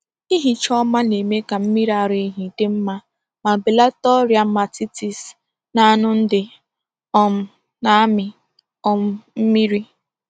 Ihicha ọma na-eme ka mmiri ara ehi dị mma ma belata ọrịa mastitis n’anu ndị um na-amị um mmiri.